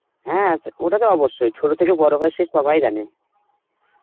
হ্যাঁ তো~ ওটা তো অবশ্যই, ছোট থেকে বড় হয় সে সবাই জানে